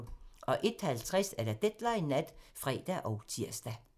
01:50: Deadline Nat (fre og tir)